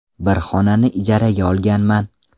Bir xonani ijaraga olganman.